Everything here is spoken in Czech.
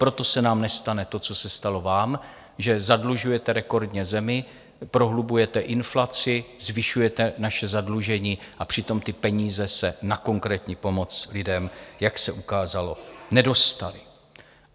Proto se nám nestane to, co se stalo vám, že zadlužujete rekordně zemi, prohlubujete inflaci, zvyšujete naše zadlužení, a přitom ty peníze se na konkrétní pomoc lidem, jak se ukázalo, nedostaly.